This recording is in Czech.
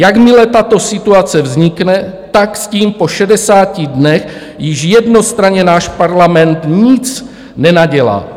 Jakmile tato situace vznikne, tak s tím po 60 dnech již jednostranně náš parlament nic nenadělá.